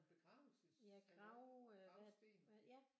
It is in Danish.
En begravelses en gravsten